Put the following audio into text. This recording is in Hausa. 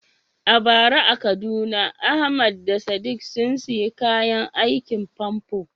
A bara a Kaduna Ahmad da Sadiq sun sayi kayan aikin famfo.